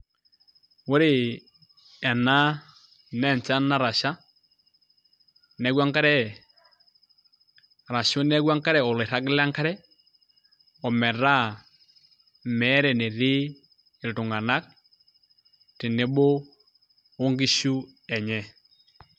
Ore ena naa enchan natasha neeku enkare oloirragi lenkare ometaa meeta enetii iltung'anak tenebo onkishu enye.